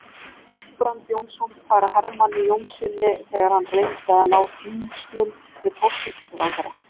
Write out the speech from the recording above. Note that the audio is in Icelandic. Guðbrand Jónsson færa Hermanni Jónassyni, þegar hann reyndi að ná tengslum við forsætisráðherra.